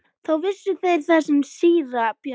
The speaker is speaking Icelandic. Þá vissu þeir að þar var síra Björn.